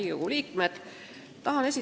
Riigikogu liikmed!